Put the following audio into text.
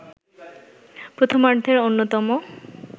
প্রথমার্ধের অন্যতম